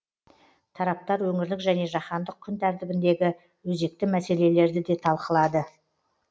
тараптар өңірлік және жаһандық күн тәртібіндегі өзекті мәселелерді де талқылады